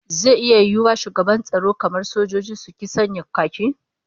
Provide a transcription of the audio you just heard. Zai iya yiwuwa shugabannin tsaro kamar sojoji, su ki sanya khaki?